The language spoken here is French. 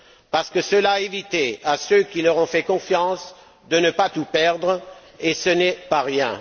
parce que cela a évité à ceux qui leur ont fait confiance de tout perdre et ce n'est pas rien.